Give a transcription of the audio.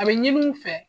A bɛ ɲini u fɛ